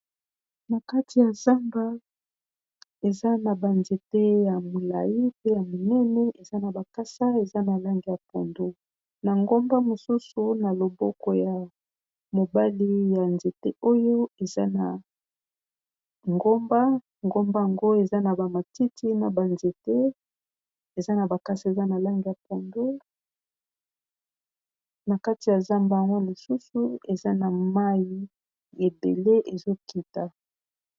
Na kati ya zamba, eza na ba nzete ya mulayi pe ya minen, eza na ba kasa eza na langi ya pondu, na ngomba mosusu na loboko ya Mobali ya nzete oyo, eza ngomba, ngomba yango eza na ba matiti na ba nzete eza na ba kasa ya langi ya pondu. Na kati ya zamba yango lisusu